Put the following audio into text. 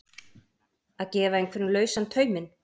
Að gefa einhverjum lausan tauminn